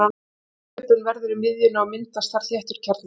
samþjöppun verður í miðjunni og myndast þar þéttur kjarni